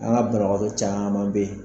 An ga banabagato caman be yen